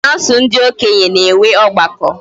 kansul ndi okenye ga enwe ogbako